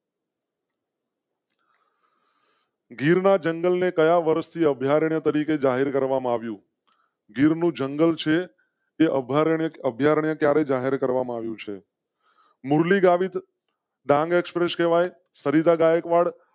ગીર ના જંગલ ને ગયા વર્ષે અભયારણ્ય તરીકે જાહેર કરવામાં આવ્યું. ગીર નું જંગલ સે અભયારણ્ય અભયારણ્ય ક્યારે જાહેર કરવામાં આવ્યું છે? મુરલી ગાવિત ડાંગ express કેવાય સરિતા ગાયકવાડ,